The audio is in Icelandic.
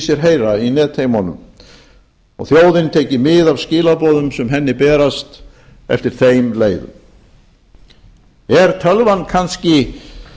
sér heyra í netheimunum og þjóðin tekið mið af skilaboðum sem henni berast eftir þeim leiðum er tölvan kannski